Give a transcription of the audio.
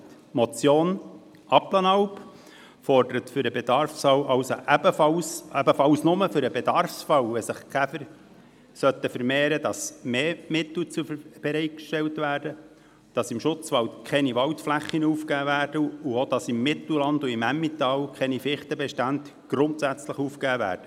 Die Motion Abplanalp fordert, ebenfalls nur für den Bedarfsfall, wenn sich also die Käfer vermehren sollten, dass mehr Mittel bereitgestellt werden, dass im Schutzwald keine Waldflächen aufgegeben werden und dass im Mittelland und im Emmental keine Fichtenbestände grundsätzlich aufgegeben werden.